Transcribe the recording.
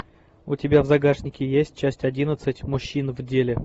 у тебя в загашнике есть часть одиннадцать мужчина в деле